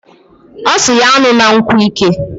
Osiri ya an̄una nkwu ike.